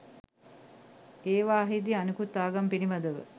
ඒවාහිදී අනෙකුත් ආගම් පිළිබඳව